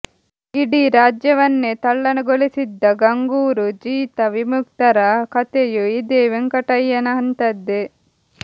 ಇಡೀ ರಾಜ್ಯವನ್ನೇ ತಲ್ಲಣಗೊಳಿಸಿದ್ದ ಗಂಗೂರು ಜೀತ ವಿಮುಕ್ತ ರ ಕತೆಯೂ ಇದೇ ವೆಂಕಟಯ್ಯನಂತಹದ್ದೆ